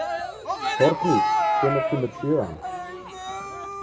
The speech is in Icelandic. Þorgnýr, hvenær kemur sjöan?